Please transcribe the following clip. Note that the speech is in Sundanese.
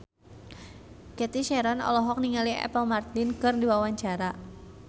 Cathy Sharon olohok ningali Apple Martin keur diwawancara